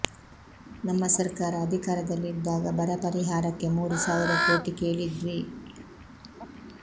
ನಮ್ಮ ಸರ್ಕಾರ ಅಧಿಕಾರದಲ್ಲಿ ಇದ್ದಾಗ ಬರ ಪರಿಹಾರಕ್ಕೆ ಮೂರು ಸಾವಿರ ಕೋಟಿ ಕೇಳಿದ್ವಿ